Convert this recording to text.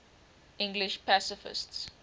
english pacifists